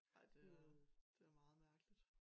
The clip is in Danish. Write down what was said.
Ej det er det meget mærkeligt